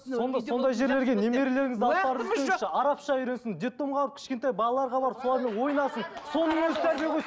сондай жерлерге немерелеріңіз арапша үйренсін детдомға кішкентай балаларға барып солармен ойнасын соның өзі тәрбие ғой